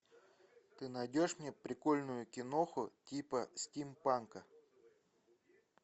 ты найдешь мне прикольную киноху типа стимпанка